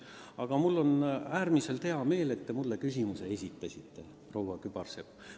Aga mul on äärmiselt hea meel, et te mulle küsimuse esitasite, proua Kübarsepp.